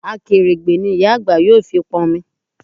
Akèrègbè ni ìyá àgbà yóò fi pọn omi